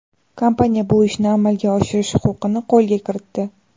Kompaniya bu ishni amalga oshirish huquqini qo‘lga kiritdi.